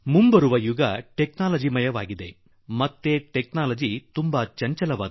ಮುಂಬರುವ ಯುಗ ತಂತ್ರಜ್ಞಾನ ಪ್ರಧಾನ ಹಾಗೂ ತಂತ್ರಜ್ಞಾನ ಉಳಿದೆಲ್ಲದಕ್ಕಿಂತ ಚಂಚಲ